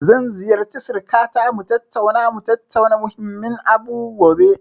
Zan ziyarci sirikata mu tattauna, mu tattauna muhimmin abu gobe.